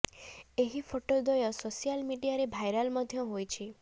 ଏହି ଫୋଟ ଦ୍ୱୟ ସୋସିଆଲ ମିଡିଆରେ ଭାଇରାଲ ମଧ୍ୟ ହୋଇଛି